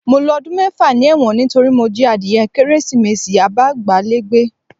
Mo lo ọdún mẹ́fà ni ẹ̀wọ̀n nítorí mo jí adìye Kérésìmesì abágbálégbé